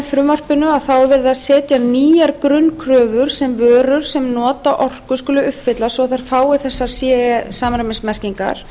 frumvarpinu er verið að setja nýjar grunnkröfur sem vörur sem nota orku skulu uppfylla svo að þær fái ce samræmismerkingar